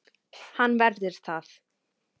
Hann verður það.